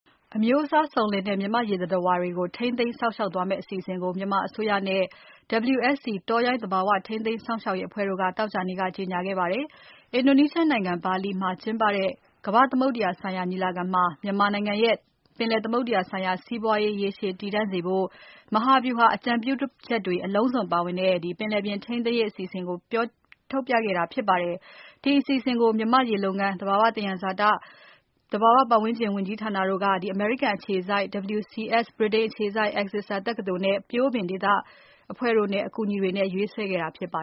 အမျိုးအစားစုံလင်လှတဲ့ မြန်မာ့ရေသတ္တဝါတွေ ထိန်းသိမ်းစောင့်ရှောက်ရေးအတွက် အစီအစဉ်သစ်ကို မြန်မာအစိုးရနဲ့ WSC တောရိုင်း သဘာဝ ထိန်းသိမ်းစောင့်ရှောက်ရေးအဖွဲ့ တို့က သောကြာနေ့မှာ ကြေညာခဲ့ပါတယ်။ အင်ဒိုနီးရှားနိုင်ငံ ဘာလီမှာ ကျင်းပတဲ့ ကမ္ဘာ့သမုဒ္ဒရာဆိုင်ရာ ညီလာခံမှာ မြန်မာနိုင်ငံရဲ့ ပင်လယ်သမုဒ္ဒရာ ဆိုင်ရာ စီးပွါးရေး ရေရှည်တည်တံ့ စေဖို့ မဟာဗျူဟာ အကြံပြုချက်တွေပါတဲ့ “Marine Spatial Planning for Myanmar: Strategic Advice for Securing a Sustainable Ocean Economy” ထိမ်းသိမ်းရေး အစီအစဉ်ကို ချပြခဲ့တာ ဖြစ်ပါတယ်။ ဒီ အစီအစဉ်ကို မြန်မာ့ရေလုပ်ငန်း၊ သဘာဝသယံဇာတနဲ့ သဘာဝဝန်းကျင် ဝန်ကြီးဌာနတို့က အမေရိကန် အခြေစိုက် WCS ၊ ဗြိတိန်အခြေစိုက် Exeter တက္ကသိုလ်နဲ့ ပျိုးပင် ဒေသတွင်းအဖွဲ့တို့ရဲ့ အကူအညီတွေနဲ့ ရေးဆွဲ ထားတာ ဖြစ်ပါ